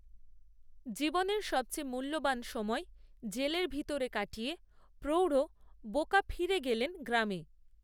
জীবনের সবচেয়ে মূল্যবান সময় জেলের ভিতরে কাটিয়ে, প্রৌঢ় বোকা ফিরে গেলেন গ্রামে